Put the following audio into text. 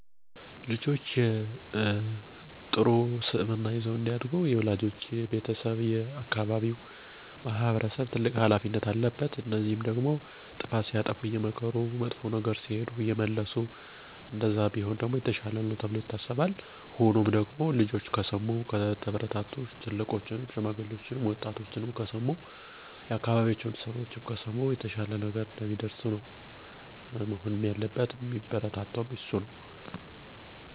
ልጆችን ከልጅነታቸው ጀምረን ስን-ምግባር እንዲኖራቸው እንዳይዋሹ ታላላቆቻቸውን ታናናሾቻቸውንም እንዲያከብሩ ማስተማር መገሰፅ አለብን። ስነምግባር እንዲማሩ መፍጠር ያለብን መንገዶች እንዲገባቸው በቀላል አረዳድ ማስተማር መምከር አስተማሪ የሆኑ ተረቶችን ታሪኮችን ማንበብ፣ ልጆች ፊት አለመሳደብ፣ ነውር የሆነ ነገር አለማውራት ልጆች ጥሩ ነገር ሲሰሩ መሸለም ማበረታታት ሲያጠፉ መምከር መቆጣት መገሰፅ አለብን። ነገ ሲያድጉ በትምህርታቸውም ጎበዝ ውጤታማ እንዲሆኑ፣ ሰውችን እንዲያከብሩ፦ ቅን ታዛዥ፣ ሀገራቸውን እንዲወዱ ልጆችን ከስር መሰረቱ መስመር እያሳዙ ማስተማር በሁሉም ነገር ተገቢ እና አስፈላጊ ነው።